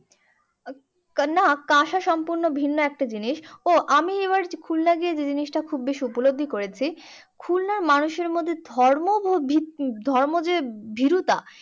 না কাঁসার সম্পূর্ণ ভিন্ন একটা জিনিস ও আমি এবার খুলনা গিয়ে যে জিনিসটা খুব বেশি উপলব্ধি করেছি। খুলনা মানুষের মধ্যে ধর্ম ধর্ম যে ভীরুতা